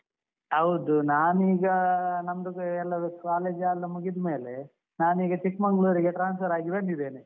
ಹೌದು ನಾನೀಗ ನಮ್ದು ಕೆ ಎಲ್ಲ college ಲ್ಲ ಮುಗಿದ್ಮೇಲೆ ನಾನೀಗ ಚಿಕ್ಮಂಗ್ಳೂರ್ ಗೆ transfer ಆಗಿ ಬಂದಿದ್ದೇನೆ.